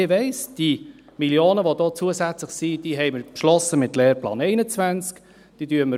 Ich weiss, die Millionen, die zusätzlich da sind, haben wir mit dem Lehrplan 21 beschlossen.